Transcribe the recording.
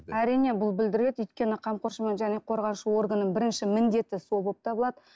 әрине бұл білдіреді өйткені қамқоршы мен және қорғаншы органының бірінші міндеті сол болып табылады